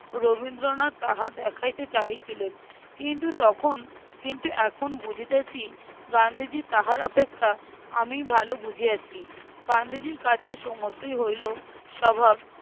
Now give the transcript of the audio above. রবীন্দ্রনাথ তাহা দেখাইতে চাহিছিলেন। কিন্তু তখন কিন্তু এখন বুঝিতেছি গান্ধীজী তাহার অপেক্ষা আমিই ভালো বুঝিয়াছি। গান্ধীজির কাছে সমস্তই হইলো স্বভাব